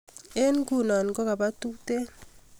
eng' nguno ko kaba tutet